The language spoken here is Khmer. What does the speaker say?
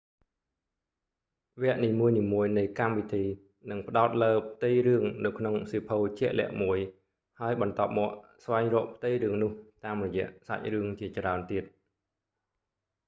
វគ្គនីមួយៗនៃកម្មវិធីនឹងផ្តោតលើផ្ទៃរឿងនៅក្នុងសៀវភៅជាក់លាក់មួយ ហើយបន្ទាប់មកស្វែងរកផ្ទៃរឿងនោះ តាមរយៈសាច់រឿងជាច្រើនទៀត